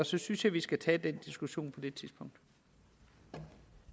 så synes jeg vi skal tage diskussionen på